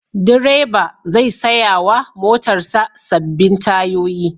Direba zai saya wa motarsa sabbin tayoyi.